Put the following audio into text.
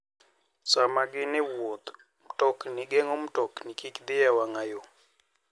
Sama gin e wuoth, mtokni geng'o mtokni kik dhi e wang'a yo.